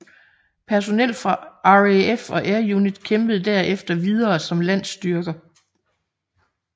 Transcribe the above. Personel fra RAF og Air Unit kæmpede derefter videre som landstyrker